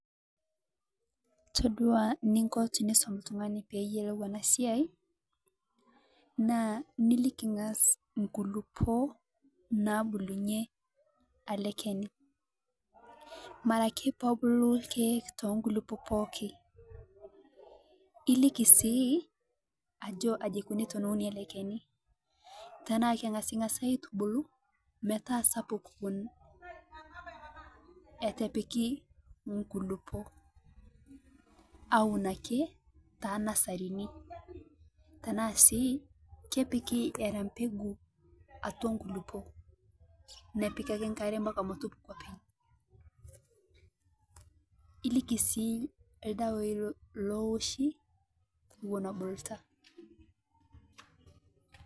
Toodua niinko tinisum ltung'ani pee eiyelou ena siai naa ilikii ng'aas nkulupoo nabulunye ale kenii. Mara ake peebuluu kee to nkulupoo pooki iliiki sii ajo kajii eikonii te eunii ele kenii tana keng'asng'as aitubuluu metaa sapuk ewuen atipiiki nkulupoo euun ake ta nasarini tana sii kepiiki era mbeguu atua nkulupoo, nepiik ake nkaare mpakaa metuupuku oopeny. Ilikii sii ldewai looshii wuen ebuluuta.